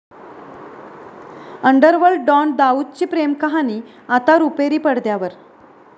underworld don दाऊदची प्रेमकहाणी आता रुपेरी पडद्यावर